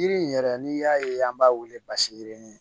Yiri in yɛrɛ n'i y'a ye an b'a wele basi yirini